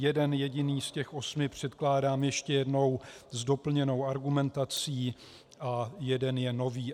Jeden jediný z těch osmi předkládám ještě jednou s doplněnou argumentací a jeden je nový.